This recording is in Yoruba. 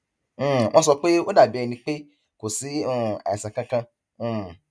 um wọn sọ pé ó dàbí ẹni pé kò sí um àìsàn kankan um